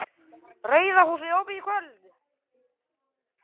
RAUÐA HÚSIÐ OPIÐ Í KVÖLD